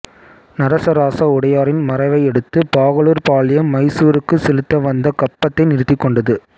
நரசராச உடையாரின் மறைவையடுத்து பாகலூர் பாளையம் மைசூருக்கு செலுத்திவந்த கப்பத்தை நிறுத்திக்கொண்டது